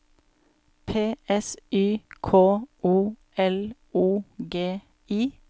P S Y K O L O G I